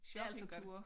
Det altid godt